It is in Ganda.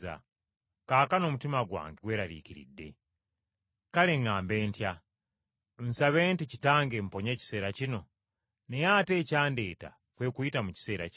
“Kaakano omutima gwange gweraliikiridde. Kale ŋŋambe ntya? Nsabe nti Kitange mponya ekiseera kino? Naye ate ekyandeeta kwe kuyita mu kiseera kino.